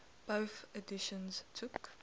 bofh editions took